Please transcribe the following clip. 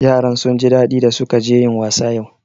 Yaran sun ji daɗi da su ka je yin wasa yau